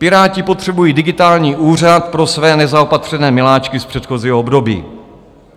Piráti potřebují digitální úřad pro své nezaopatřené miláčky z předchozího období.